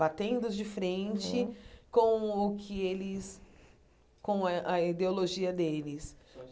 Batendo de frente com o que eles com a a ideologia deles.